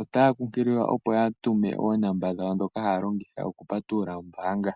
Otaya kunkililwa opo yaatume oonomola dhawo ndhoka haya longitha okupatulula oombaanga.